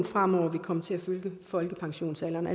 fremover vil komme til at følge folkepensionsalderen